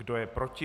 Kdo je proti?